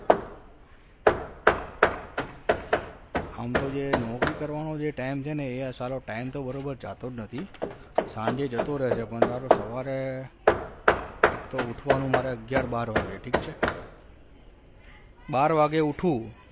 આમ તો જે નોકરી કરવાન જે time છે ને એ સાલો time તો બરાબર જતો જ નહિ સાંજે તો જતો રે છે પણ સાલો સવારે એક તો ઊઠવાનું મારે અગિયાર બાર વાગે ઠીક છે બાર વાગે ઉઠું